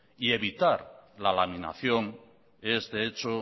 y evitar la laminación de este hecho